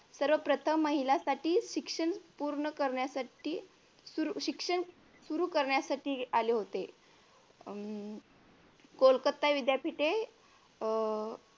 सर्वप्रथम महिलांसाठी शिक्षण पूर्ण करण्यासाठी शिक्षण सुरु करण्यासाठी आले होते हम्म कोलकत्ता विद्यापीठ हे अह